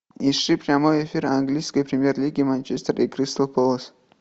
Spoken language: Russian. ищи прямой эфир английской премьер лиги манчестер и кристал пэлас